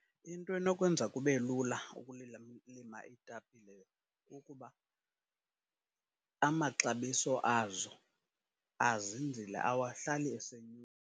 Into enokwenza kube lula ukulila, lima iitapile kukuba amaxabiso azo azinzile awahlali .